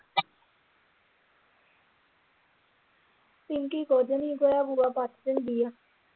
ਪਿੰਕੀ ਕੁਝ ਨਹੀਂ ਵੇਹੜਾ ਵੁਹੜਾ ਪੱਟ ਦਿੰਦੀ ਆ।